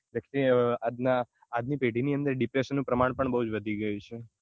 આજના આજ ની પેઢી ની અંદર depression નું પ્રમાણ પણ વધી ગયું છે